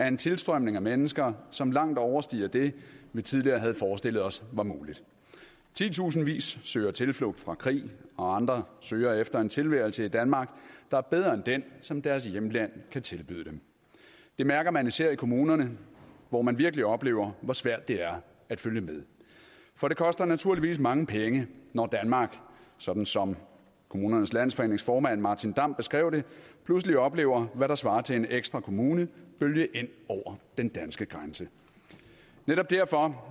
en tilstrømning af mennesker som langt overstiger det vi tidligere havde forestillet os var muligt titusindvis søger tilflugt fra krig og andre søger efter en tilværelse i danmark der er bedre end den som deres hjemland kan tilbyde dem det mærker man især i kommunerne hvor man virkelig oplever hvor svært det er at følge med for det koster naturligvis mange penge når danmark sådan som kommunernes landsforenings formand martin damm beskrev det pludselig oplever hvad der svarer til en ekstra kommune bølge ind over den danske grænse netop derfor